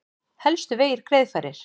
Helstu vegir greiðfærir